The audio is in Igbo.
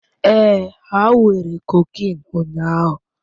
Ee, ha were cocaine ụnyahụ